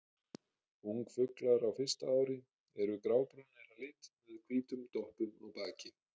Ungfuglar á fyrsta ári eru grábrúnir að lit með hvítum doppum á baki.